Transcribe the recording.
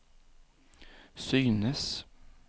synes